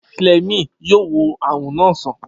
Fleming yóò wo àrùn na sàn